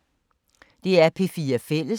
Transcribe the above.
DR P4 Fælles